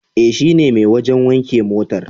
E, shine mai wajen wanke motar.